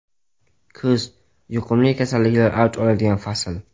Kuz yuqumli kasalliklar avj oladigan fasl.